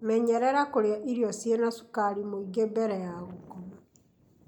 Menyerera kũrĩa irio ciina cukari mwingĩ mbere ya gũkoma.